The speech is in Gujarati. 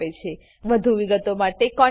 વધુ વિગતો માટે કૃપા કરીcontactspoken tutorialorg પર લખો